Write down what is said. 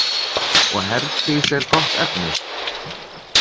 Og Herdís er gott efni?